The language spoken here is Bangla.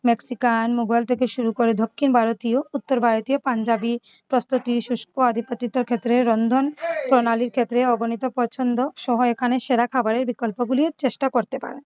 মেক্সিকান মুঘল থেকে শুরু করে দক্ষিণ ভারতীয় উত্তর ভারতীয় পাঞ্জাবি রন্ধন প্রণালীর ক্ষেত্রে অগণিত পছন্দ সহ এখানে সেরা খাবারের বিকল্পগুলিও চেষ্টা করতে পারেন।